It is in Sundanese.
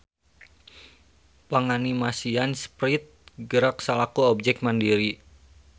Panganimasian Sprite gerak salaku objek mandiri.